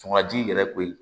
Fanga ji yɛrɛ koyi